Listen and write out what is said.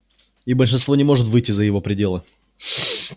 и большинство не может выйти за его пределы